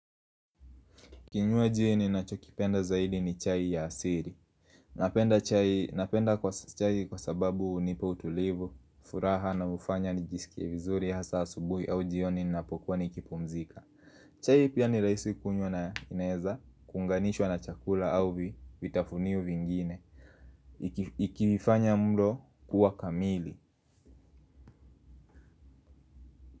Kinywaji ninachokipenda zaidi ni chai ya asili napenda chai kwa sababu hunipa utulivu hunifanya nijsikie vizuri hasa asubuhi au jioni ninapokuwa nikipumzika. Chai pia ni rahisi kunywa na inaweza kuunganishwa na chakula au vi vitafunio vingine. Ikifanya mlo kuwa kamili.